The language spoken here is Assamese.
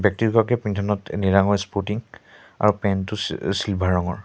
পিন্ধনত নীলা ৰঙৰ স্পটিং আৰু পেণ্ট টো চি-চিলভাৰ ৰঙৰ।